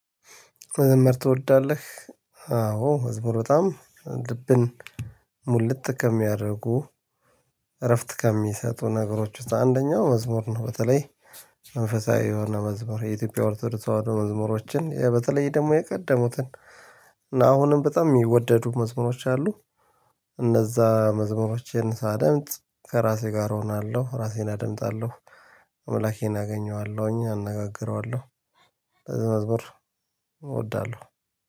መዘመር ትወዳለህ? አዎ መዝሙር በጣም ልብን ሙልት ከሚያደርጉ እረፍት ከሚሰጡ ነገሮች ውስጥ አንደኛው መዝሙር ነው። በተለይ መንፈሳዊ የሆነ መዝሙር የኢትዮጵያ ኦርቶዶክስ ተዋዶ መዝሙሮችን በተለይ ደግሞ የቀደሙትን። እና አሁንም በጣም የሚወደዱ መዝሙሮች አሉ። እነዛ መዝሙሮችን ሳደምጥ ከራሴ ጋር እሆናለሁ ራሴን አደምጣለሁ አምላኬን አገኘዋለሁኝ አነጋግረዋለሁ። ለዚያ መዝሙር እወዳለሁ